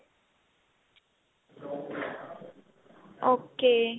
okay